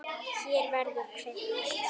Hér verður kveikt.